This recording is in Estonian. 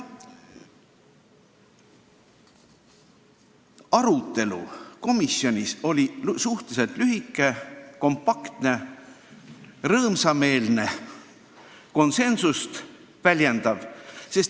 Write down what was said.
Arutelu komisjonis oli suhteliselt lühike, kompaktne, rõõmsameelne ja konsensust väljendav.